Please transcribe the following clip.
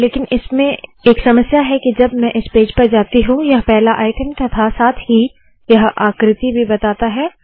लेकिन इसमें एक समस्या है के जब मैं इस पेज पर जाती हूँ यह पहला आइटम तथा साथ ही यह आकृति भी बताता है